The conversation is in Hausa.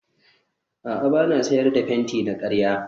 a'a ba na sayar da fenti na karya